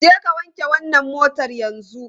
Jeka wanke wannan motar yanzu!